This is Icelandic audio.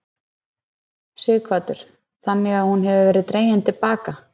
Sighvatur: Þannig að hún hefur verið dregin til baka?